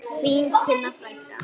Þín Tinna frænka.